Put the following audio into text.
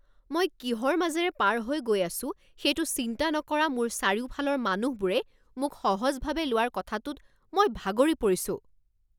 মই কিহৰ মাজেৰে পাৰ হৈ গৈ আছো সেইটো চিন্তা নকৰা মোৰ চাৰিওফালৰ মানুহবোৰে মোক সহজভাৱে লোৱাৰ কথাটোত মই ভাগৰি পৰিছো।